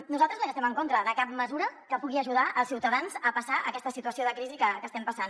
nosaltres no estem en contra de cap mesura que pugui ajudar els ciutadans a passar aquesta situació de crisi que estem passant